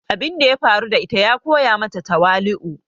Abun da ya faru da ita ya koya mata tawali"u.